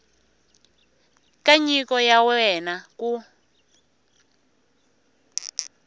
ka nyiko ya wena ku